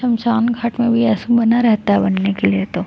समसान घाट में भी आइसी बना रहता है बनने के लिए तो--